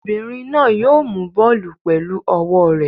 Obìnrin náà yóò mú bọ́ọ́lù pẹ̀lú ọwọ́ rẹ̀.